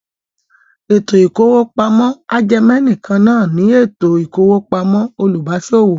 Ètò ìkówópamọ́ ajẹmẹ̀nìkan náà ní ètò ìkówópamọ́ olùbáṣòwò.